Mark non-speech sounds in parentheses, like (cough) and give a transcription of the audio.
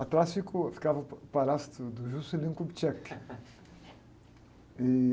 Atrás fica o, ficava o (unintelligible) palácio do, do Juscelino Kubitschek.